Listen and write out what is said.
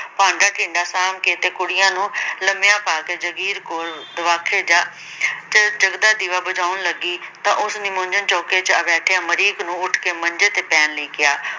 ਭਾਂਡਾ-ਟੀਂਡਾ ਸਾਂਭ ਕੇ ਤੇ ਕੁੜੀਆਂ ਨੂੰ ਲੰਮਿਆਂ ਪਾ ਕੇ, ਜਾਗੀਰ ਕੌਰ ਦਵਾਖੇ ਜਾ ਚ ਜਗਦਾ ਦੀਵਾ ਬੁਝਾਉਣ ਲੱਗੀ ਤਾਂ ਉਸ ਨਿੰਮੋਝੂਣ ਚੌਂਕੇ ਚ ਬੈਠੇ ਅਮਰੀਕ ਨੂੰ ਉੱਠ ਕੇ ਮੰਜੇ ਤੇ ਪੈਣ ਲਈ ਕਿਹਾ।